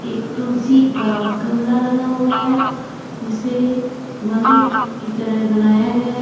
एक तुलसी का गमला लगा हुआ है जिसे मंदिर की तरह बनाया गया है।